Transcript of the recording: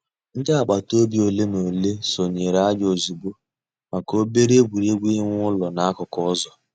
Ǹdí àgbàtà òbì òlè nà òlè sọǹyèrè ànyị̀ òzịgbọ̀ mǎká òbèrè ègwè́régwụ̀ ị̀wụ̀ èlù n'àkùkò ǔzọ̀.